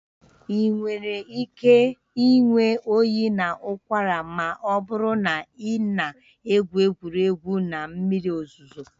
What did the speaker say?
Ị nwere ike ịnwe oyi na ụkwara ma ọ bụrụ na ị na-egwu egwu na mmiri ozuzo